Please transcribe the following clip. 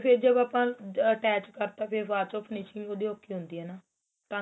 ਫੇਰ ਜਦੋ ਆਪਾਂ ਆ attach ਕਰਤਾ ਫੇਰ ਬਾਚੋ finishing ਉਹਦੀ ਔਖੀ ਹੁੰਦੀ ਏ ਨਾ ਤਾਂ